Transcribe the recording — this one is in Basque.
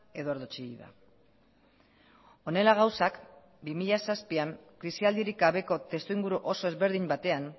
eduardo chillida honela gauzak bi mila zazpian krisialdirik gabeko testuinguru oso ezberdin batean